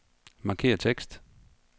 Markér tekst.